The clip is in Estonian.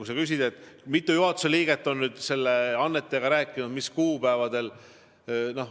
Sa küsid, kui mitu juhatuse liiget on selle annetajaga rääkinud ja mis kuupäevadel.